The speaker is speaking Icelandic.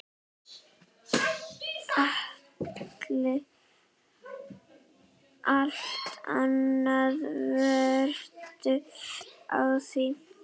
Allt annað veltur á því.